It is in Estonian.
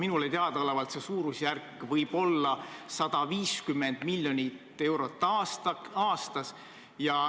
Minule teadaolevalt võib see suurusjärk olla 150 miljonit eurot aastas.